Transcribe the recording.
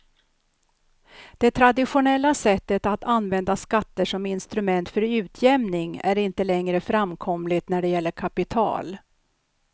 Det traditionella sättet att använda skatter som instrument för utjämning är inte längre framkomligt när det gäller kapital.